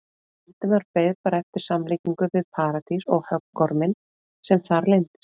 Valdimar beið bara eftir samlíkingu við Paradís og höggorminn sem þar leyndist.